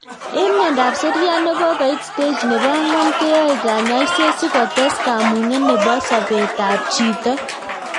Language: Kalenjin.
Eng' miondop seriat nekokoit stage nebo angwan keyae kanyoiset sikotes kamuget nebo sobetab chito